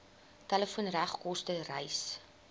telefoon regskoste reis